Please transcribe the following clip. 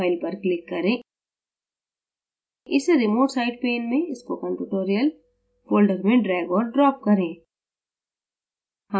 file पर click करें इसे remote site pane में spokentutorial folder में drag और drop करें